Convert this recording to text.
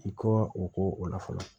I kɔ o ko o la fɔlɔ